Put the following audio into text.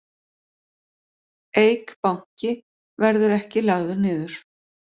Eik Banki verði ekki lagður niður